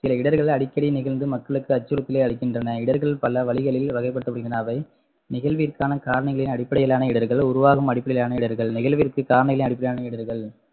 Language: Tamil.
சில இடர்கள் அடிக்கடி நிகழ்ந்து மக்களுக்கு அச்சுறுத்தலை அளிக்கின்றன இடர்கள் பலவழிகளில் வகைப்படுத்தப்படுகின்றனர் அவை நிகழ்விற்கான காரணிகளின் அடிப்படையிலான இடர்கள் உருவாகும் அடிப்படையிலான இடர்கள் நிகழ்விற்கு காரணிகளின் அடிப்படையிலான இடர்கள்